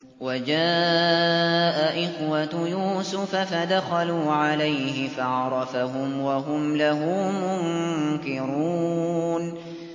وَجَاءَ إِخْوَةُ يُوسُفَ فَدَخَلُوا عَلَيْهِ فَعَرَفَهُمْ وَهُمْ لَهُ مُنكِرُونَ